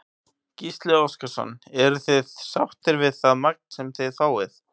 Gísli Óskarsson: Eruð þið sáttir við það magn sem þið fáið?